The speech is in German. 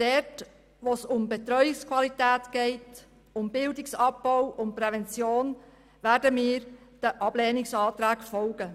Dort, wo es um die Betreuungsqualität geht, um Bildung oder um Prävention werden wir den Ablehnungsanträgen folgen.